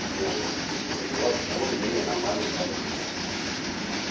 вот и будут у вас более-менее нормальные хорошие наушники